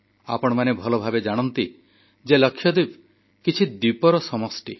ଆପଣମାନେ ଭଲଭାବେ ଜାଣନ୍ତି ଯେ ଲାକ୍ଷାଦ୍ୱୀପ କେତେଗୁଡ଼ିଏ ଦ୍ୱୀପର ସମଷ୍ଟି